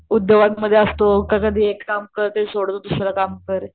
उद्योगांमध्ये असतो का कधी एक काम करतो सोडतो दुसरं काम करतो.